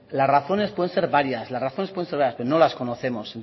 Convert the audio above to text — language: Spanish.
las razones pueden ser varias las razones pueden ser varias pero no las conocemos